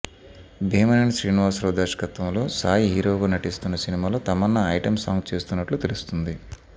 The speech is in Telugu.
భిమేనేని శ్రీనివాసరావు దర్శకత్వంలో సాయి హీరోగా నటిస్తున్న సినిమాలో తమన్నా ఐటెం సాంగ్ చేస్తున్నట్లు తెలుస్తుంది